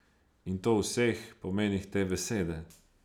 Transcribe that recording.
In to v vseh pomenih te besede.